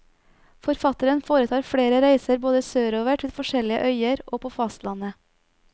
Forfatteren foretar flere reiser både sørover til forskjellige øyer og på fastlandet.